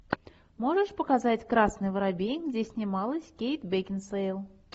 можешь показать красный воробей где снималась кейт бекинсейл